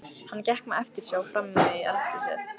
Hann gekk með eftirsjá frammí eldhúsið.